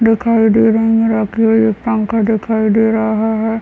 दिखाई दे रहे हैं रखी हुई पंखा दिखाई दे रहा है।